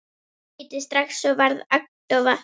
Ég hlýddi strax og varð agndofa.